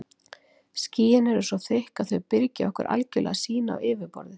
Skýin eru svo þykk að þau byrgja okkur algjörlega sýn á yfirborðið.